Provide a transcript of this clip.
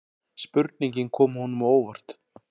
Spurningin kom honum á óvart.